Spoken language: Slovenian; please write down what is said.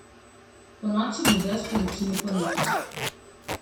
Ponoči bo dež povečini ponehal.